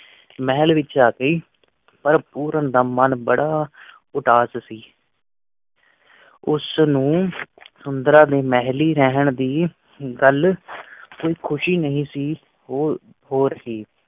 ਮਹਲ ਵਿਚ ਆ ਗਈ ਪਰ ਪੂਰਨ ਦਾ ਮਨ ਬੜਾ ਉਦਾਸ ਸੀ ਉਸ ਨੂੰ ਸੁੰਦਰਾਂ ਦੇ ਮਹਿਲੀਂ ਰਹਿਣ ਦੀ ਉਂਗਲ ਕੋਈ ਖੁਸ਼ੀ ਨਹੀਂ ਸੀ ਉਹ ਹੋਰ ਹੀ